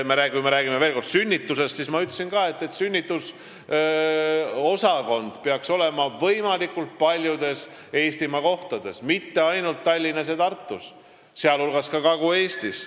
Kui me räägime veel kord sünnitustest, siis ma ütlesin, et sünnitusosakond peaks olema võimalikult paljudes Eestimaa kohtades, mitte ainult Tallinnas ja Tartus, vaid ka Kagu-Eestis.